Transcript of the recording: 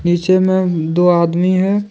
नीचे मैं दो आदमी है।